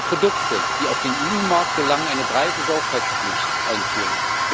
Wir müssen für Produkte, die auf den EU Markt gelangen, eine breite Sorgfaltspflicht einführen.